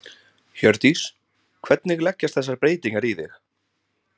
Hjördís: Hvernig leggjast þessar breytingar í þig?